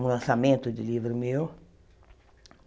Um lançamento de livro meu.